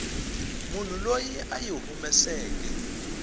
munhu loyi a yi humeseke